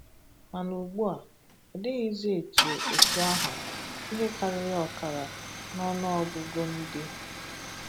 Mana ụgbua, ọ dịghịzị etu etu ahụ, ihe karịrị ọkara n’ọnụ ọgụgụ ndị